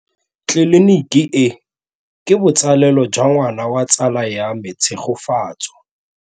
Tleliniki e, ke botsalêlô jwa ngwana wa tsala ya me Tshegofatso.